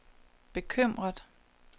bekymret